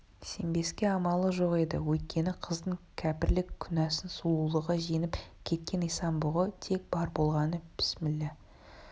сенбеске амалы жоқ еді өйткені қыздың кәпірлік күнәсын сұлулығы жеңіп кеткен исан-бұғы тек бар болғаны пісмилла